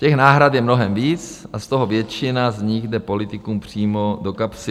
Těch náhrad je mnohem víc a z toho většina z nich jde politikům přímo do kapsy.